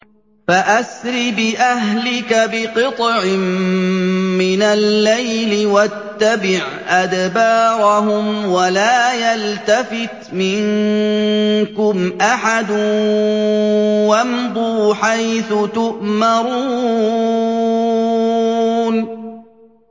فَأَسْرِ بِأَهْلِكَ بِقِطْعٍ مِّنَ اللَّيْلِ وَاتَّبِعْ أَدْبَارَهُمْ وَلَا يَلْتَفِتْ مِنكُمْ أَحَدٌ وَامْضُوا حَيْثُ تُؤْمَرُونَ